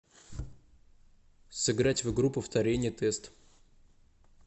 сыграть в игру повторение тест